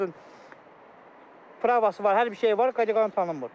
Eləsi var, məsəl üçün, pravası var, hər bir şeyi var, kateqoriyası tanınmır.